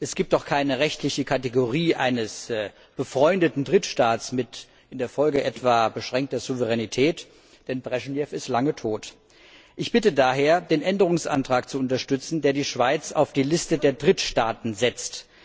Es gibt auch keine rechtliche Kategorie eines befreundeten Drittstaats mit in der Folge etwa beschränkter Souveränität, denn Breschnew ist schon lange tot. Ich bitte daher, den Änderungsantrag zu unterstützen, der die Schweiz auf die Liste der Drittstaaten setzt.